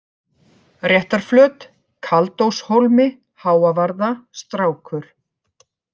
Réttarflöt, Kaldóshólmi, Háavarða, Strákur